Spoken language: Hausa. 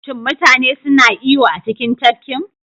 Shin mutane suna iyo a cikin tafkin?